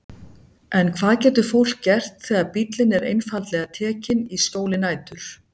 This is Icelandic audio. En hvað getur fólk gert þegar bíllinn er einfaldlega tekinn í skjóli nætur?